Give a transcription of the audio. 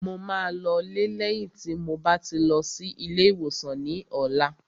Mo máa lọ lé lẹ́yìn tí mo bá ti lọ sí ilé ìwòsàn ní ọ̀la